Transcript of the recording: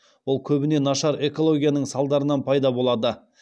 ол көбіне нашар экологияның салдарынан пайда болады